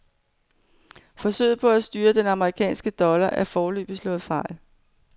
Forsøget på at styrke den amerikanske dollar er foreløbig slået fejl.